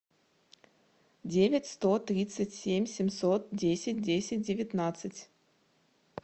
девять сто тридцать семь семьсот десять десять девятнадцать